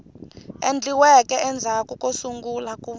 endliweke endzhaku ko sungula ku